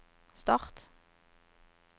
start